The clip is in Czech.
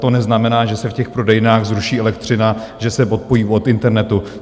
To neznamená, že se v těch prodejnách zruší elektřina, že se odpojí od internetu.